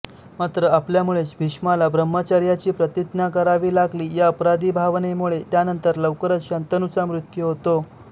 मात्र आपल्यामुळेच भीष्माला ब्रह्मचर्याची प्रतिज्ञा करावी लागली या अपराधीभावनेमुळे यानंतर लवकरच शंतनूचा मृत्यू होतो